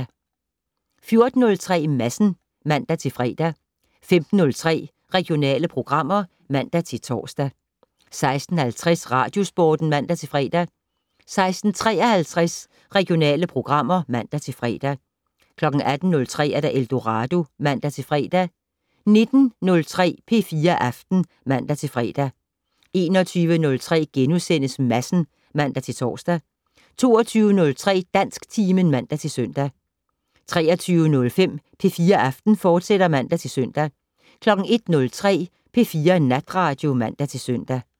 14:03: Madsen (man-fre) 15:03: Regionale programmer (man-tor) 16:50: Radiosporten (man-fre) 16:53: Regionale programmer (man-fre) 18:03: Eldorado (man-fre) 19:03: P4 Aften (man-fre) 21:03: Madsen *(man-tor) 22:03: Dansktimen (man-søn) 23:05: P4 Aften, fortsat (man-søn) 01:03: P4 Natradio (man-søn)